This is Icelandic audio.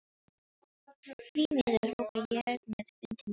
Því miður, hrópa ég með vindinn í fangið.